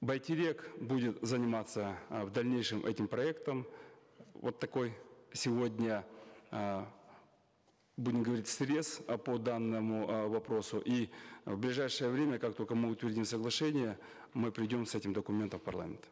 байтерек будет заниматься э в дальнейшем этим проектом вот такой сегодня э будем говорить срез э по данному э вопросу и э в ближайшее время как только мы утвердим соглашение мы придем с этим документом в парламент